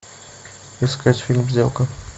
искать фильм сделка